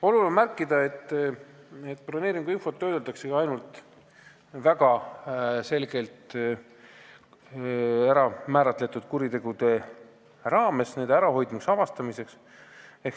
Oluline on märkida, et broneeringuinfot töödeldakse ainult väga selgelt määratletud kuritegude ärahoidmiseks ja avastamiseks.